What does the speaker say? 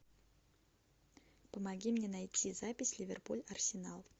помоги мне найти запись ливерпуль арсенал